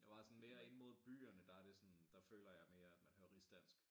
Det meget sådan mere inde mod byerne der det sådan der føler jeg mere at man hører rigsdansk